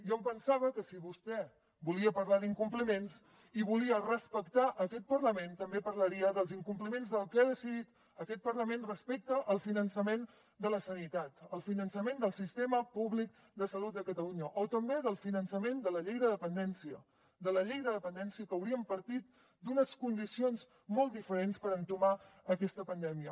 jo em pensava que si vostè volia parlar d’incompliments i volia respectar aquest parlament també parlaria dels incompliments del que ha decidit aquest parlament respecte al finançament de la sanitat al finançament del sistema públic de salut de catalunya o també del finançament de la llei de dependència de la llei de dependència que hauríem partit d’unes condicions molt diferents per entomar aquesta pandèmia